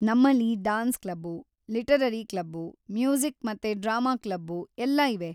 ನಮ್ಮಲ್ಲಿ dance club, literary club, music ಮತ್ತೆ drama club ಎಲ್ಲ ಇವೆ.